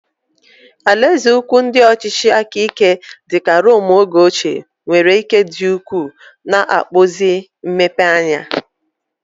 Alaeze ukwu ndị ọchịchị aka ike dị ka Rome oge ochie nwere ike dị ukwuu, na-akpụzi mmepeanya.